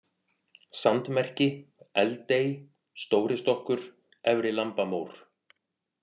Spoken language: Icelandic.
Sandmerki, Eldey, Stóristokkur, Efri-Lambamór